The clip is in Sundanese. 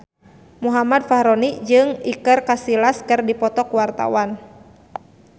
Muhammad Fachroni jeung Iker Casillas keur dipoto ku wartawan